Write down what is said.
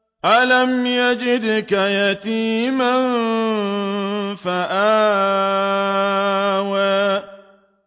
أَلَمْ يَجِدْكَ يَتِيمًا فَآوَىٰ